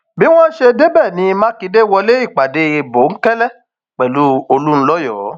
bí wọn ṣe débẹ ní mákindé wọlé ìpàdé bòńkẹlẹ pẹlú olùńlọyọ